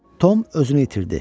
Tom özünü itirdi.